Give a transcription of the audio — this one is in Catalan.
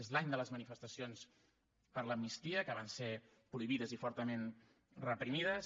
és l’any de les manifestacions per l’amnistia que van ser prohibides i fortament reprimides